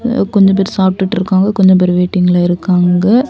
கொஞ்சம் பெரு சாப்பிட்டுட்டு இருக்காங்க. கொஞ்சம் பேரு வெயிட்டிங்ல இருக்காங்க.